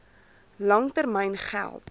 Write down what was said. lang termyn geld